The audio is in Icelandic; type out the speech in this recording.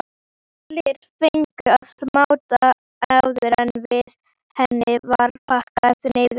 Allir fengu að máta áður en henni var pakkað niður.